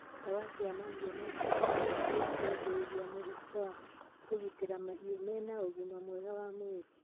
Ndawa cia mahiũ no citeithie kũgirĩrĩria mĩrimũ na gũtigĩrĩra mahiũ mena ũgima mwega wa mwĩrĩ.